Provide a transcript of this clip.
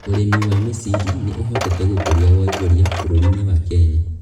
Ũrĩmi wa mĩciri nī ũhotete gũkũria wonjoria bũrũri-inĩ wa Kenya.